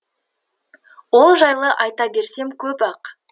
ол жайлы айта берсем көп ақ